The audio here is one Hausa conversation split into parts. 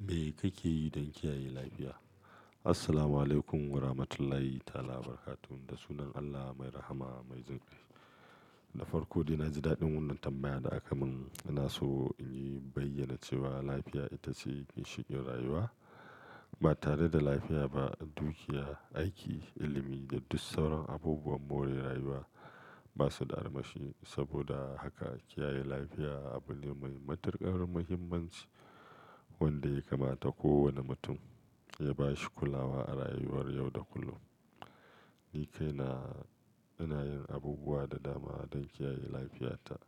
Me kake yi don kiyaye lafiya? Assalamualaikum Warahmatullahi ta'ala Wa Talabarakatum. Da sunan Allah Mai Rahma Mai jin kai. Na farko dai, naji daɗin wannan tambaya da aka mun. Ina so in yi bayyana cewa lafiya ita ce ginshiƙin rayuwa. Ba tare da lafiya ba, dukiya, aiki, ilimi da dus sauran abubuwan more rayuwa ba su da armashi. Saboda haka, kiyaye lafiya abu ne mai matuƙar muhimmanci wanda ya kamata kowane mutum ya ba shi kulawa a rayuwar yau da kullum. Ni kaina ina yin abubuwa da dama don kiyaye lafiyata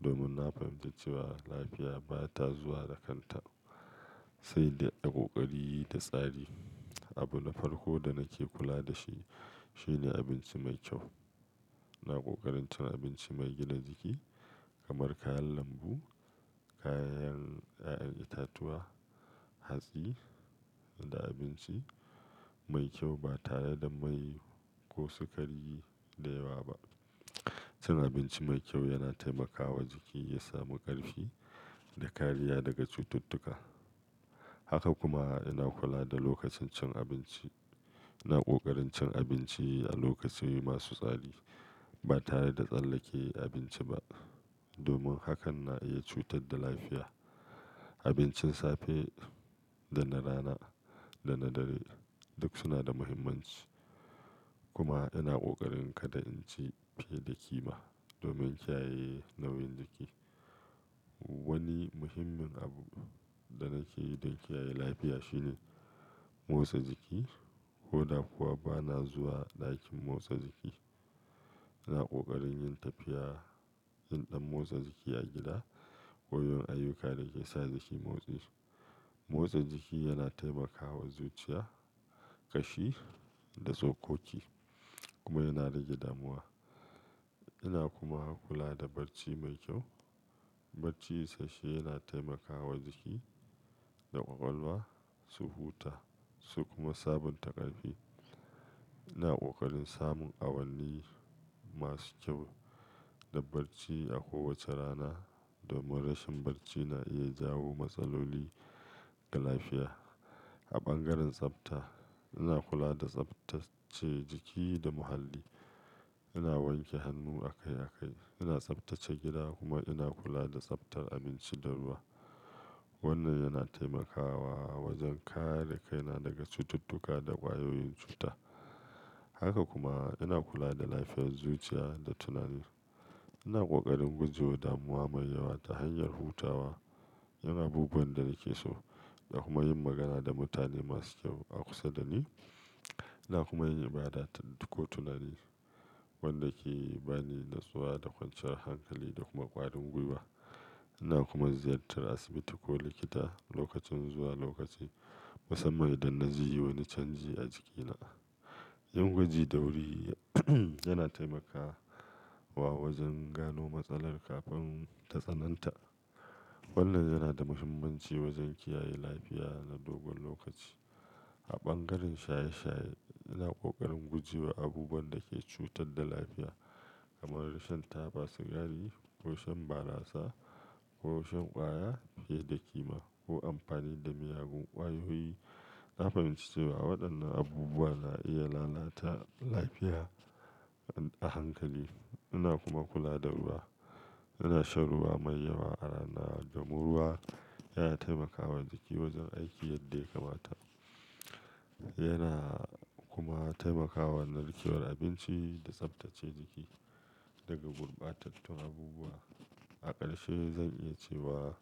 domin na fahimci cewa lafiya ba ta zuwa da kanta sai da ƙoƙari da tsari. Abu na farko da nake kula da shi shine abinci mai kyau. Ina ƙoƙarin cin abinci mai gina jiki kamar kayan lambu, kayan ƴaƴan itatuwa, hatsi da abinci mai kyau ba tare da mai ko sukari da yawa ba. Cin abinci mai kyau yana taimakawa jiki ya samu ƙarfi da kariya daga cututtuka. Haka kuma, ina kula da lokacin cin abinci. Ina ƙoƙarin cin abinci a lokaci masu tsari ba tare da tsallake abinci ba domin hakan na iya cutar da lafiya. Abincin safe da na rana da na dare duk suna da muhimmanci. Kuma ina ƙoƙarin kada in ci fiye da ƙima domin kiyaye nauyin jiki. Wani muhimmin abu da nake yi don kiyaye lafiya shine motsa jiki. Ko da kuwa ba na zuwa ɗakin motsa jiki, ina ƙoƙarin yin tafiya, yin ɗan motsa jiki a gida ko yin ayyuka da ke sa jiki motsi. Motsa jiki yana taimakawa zuciya, ƙashi da sokoki kuma yana rage damuwa. Ina kuma kula da barci mai kyau. Barci sashe yana taimakawa jiki da ƙwaƙwalwa su huta su kuma sabunta ƙarfi. Ina ƙoƙarin samun awanni masu kyau da barci a kowace rana domin rashin barci na iya jawo matsaloli ga lafiya. A bangaren tsafta, ina kula da tsaftace jiki da muhalli. Ina wanke hannu akai-akai, ina tsaftace gida kuma ina kula da tsaftar abinci da ruwa. Wannan yana taimakawa wajen kare kaina daga cututtuka da ƙwayoyin cuta. Haka kuma, ina kula da lafiyar zuciya da tunani. Ina ƙoƙarin guje wa damuwa mai yawa ta hanyar hutawa, yin abubuwan da nake so da kuma yin magana da mutane masu kyau a kusa da ni. Ina kuma yin ibada ko tunani wanda ke ba ni natsuwa da kwanciyar hankali da kuma ƙwarin gwiwa. Ina kuma ziyartar asibiti ko likita lokacin zuwa lokaci, musamman idan na ji wani canji a jikina. Yin gwaji da wuri yana taimakawa wajen gano matsala kafin ta tsananta. Wannan yana da muhimmanci wajen kiyaye lafiya na dogon lokaci. A bangaren shaye-shaye, ina ƙoƙarin guje wa abubuwan da ke cutar da lafiya kamar rashin taba sigari ko shan barasa ko shan ƙwaya fiye da ƙima ko amfani da miyagun ƙwayoyi. Na fahimci cewa waɗannan abubuwa na iya lalata lafiya a hankali. Ina kuma kula da ruwa. Ina shan ruwa mai yawa a rana domin ruwa yana taimakawa jiki wajen aiki yadda ya kamata. Yana kuma taimakawa narkewar abinci da tsaftace jiki daga gurbatattun abubuwa. A ƙarshe, zan iya cewa,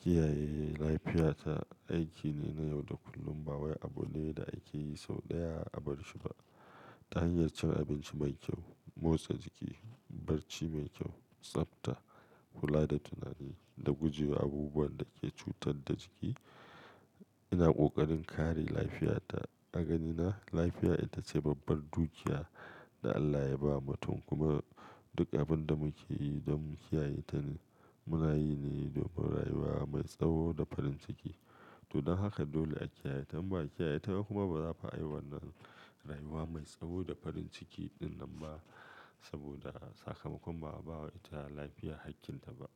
kiyaye lafiyata aiki ne na yau da kullum. Wai abu ne da ake yi sau ɗaya a bar shi ba. Ta hanyar cin abinci mai kyau, motsa jiki, barci mai kyau, tsafta, kula da tunani da guje wa abubuwan da ke cutar da jiki, ina ƙoƙarin kare lafiyata. A ganina, lafiya ita ce babbar dukiya da Allah ya ba mutum kuma duk abin da muke yi don mu kiyaye ta muna yi ne domin rayuwa mai tsawo da farin ciki. To don haka, dole a kiyaye ta. In ba a kiyaye ta ba kuma, ba za a yi wannan rayuwa mai tsawo da farin ciki ɗinnan ba saboda sakamakon ba a ba wa ita lafiya hakkinta ba.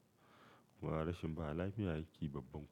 Kuma rashin ba lafiya hakki babban.